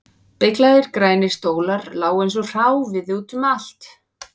Beyglaðir grænir stólar lágu eins og hráviði út um allt